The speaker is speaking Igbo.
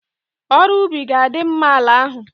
Ọrụ ubi ga-adima'ala ahụ.